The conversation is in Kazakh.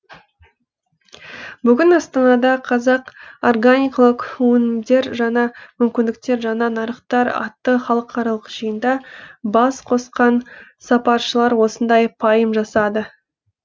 бүгін астанада қазақ органикалық өнімдер жаңа мүмкіндіктер жаңа нарықтар атты халықаралық жиында бас қосқан сарапшылар осындай пайым жасады